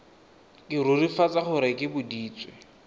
ke rurifatsa gore ke boditswe